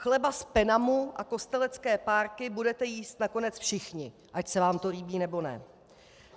Chleba z Penamu a kostelecké párky budete jíst nakonec všichni, ať se vám to líbí, nebo ne.